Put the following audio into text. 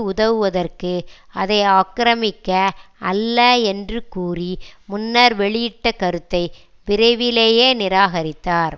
உதவுவதற்கு அதை ஆக்கிரமிக்க அல்ல என்று கூறி முன்னர் வெளியிட்ட கருத்தை விரைவிலேயே நிராகரித்தார்